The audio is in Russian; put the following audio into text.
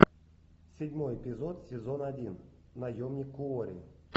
седьмой эпизод сезон один наемник куорри